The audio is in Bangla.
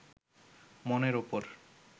মনের উপর